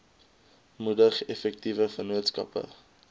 moedig effektiewe vennootskappe